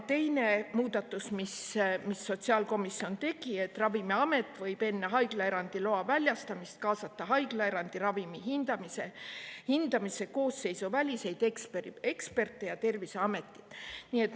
Teine muudatus, mis sotsiaalkomisjon tegi, on see, et Ravimiamet võib enne haiglaerandi loa väljastamist kaasata haiglaerandi ravimi hindamisse koosseisuväliseid eksperte ja Terviseametit.